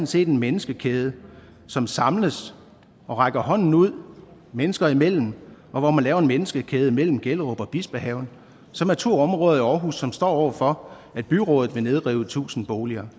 set en menneskekæde som samles og rækker hånden ud mennesker imellem og hvor man laver en menneskekæde mellem gellerup og bispehaven som er to områder i aarhus som står over for at byrådet vil nedrive tusind boliger